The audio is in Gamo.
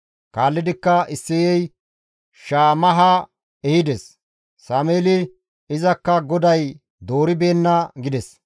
Kaallidikka Isseyey Shammaha ehides; Sameeli, «Izakka GODAY dooribeenna» gides.